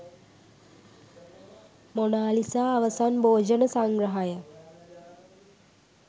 Mona Lisa අවසන් භෝජන සංග්‍රහය